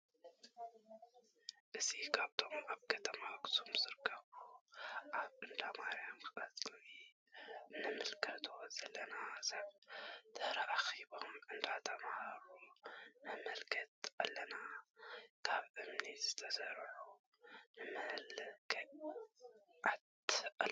እዚ ካብቶም ኣብ ከተማ ኣክሱም ዝርከብ ኣብ እንዳ ማረያም ቀፅሪ እንምልከቶ ዘለና ሰባት ተኣኪቦም እንዳ ተምሃሩ ነምልከት ኣለና። ካበ እምኒ ዝተሰርሑ ንመልክት ኣለና።